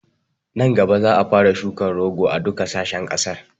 Nan gaba za a fara shukan rogo a duka sashen ƙasar